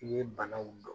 I ye banaw dɔn